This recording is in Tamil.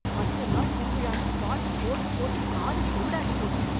பத்து நாள் திருவிழான்னு பாட்டு போட்டு போட்டு காது செவிடாகி போச்சு.